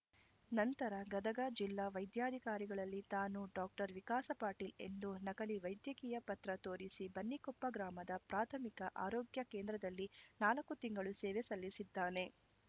ನಂತರ ಗದಗ ಜಿಲ್ಲಾ ವೈದ್ಯಾಧಿಕಾರಿಗಳಲ್ಲಿ ತಾನು ಡಾಕ್ಟರ್ ವಿಕಾಸ ಪಾಟೀಲ್‌ ಎಂದು ನಕಲಿ ವೈದ್ಯಕೀಯ ಪತ್ರ ತೋರಿಸಿ ಬನ್ನಿಕೊಪ್ಪ ಗ್ರಾಮದ ಪ್ರಾರ್ಮಿಕ ಆರೋಗ್ಯ ಕೇಂದ್ರದಲ್ಲಿ ನಾಲ್ಕು ತಿಂಗಳು ಸೇವೆ ಸಲ್ಲಿಸಿದ್ದಾನೆ